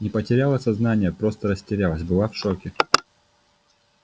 не потеряла сознание просто растерялась была в шоке